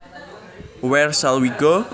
Where shall we go